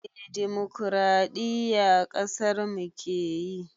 Eh dimukuraɗiyya ƙasarmu keyi